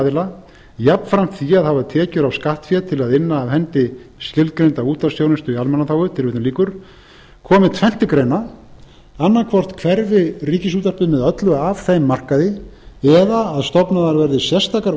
aðila jafnframt því að hafa tekjur af skattfé til að inna af hendi skilgreinda útvarpsþjónustu í almannaþágu tilvitnun lýkur komi tvennt til greina annaðhvort hverfi ríkisútvarpið með öllu af þeim markaði eða stofnaðar verði sérstakar